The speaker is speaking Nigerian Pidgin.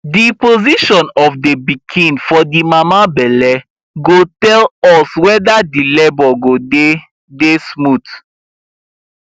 the position of the pikin for the mama belle go tell us weder the labour go dy dy smooth